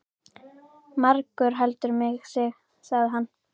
Margur heldur mig sig, sagði hann.